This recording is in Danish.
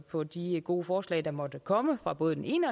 på de gode forslag der måtte komme fra både den ene